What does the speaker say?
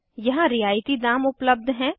यहाँ रियायती दाम उपलब्ध हैं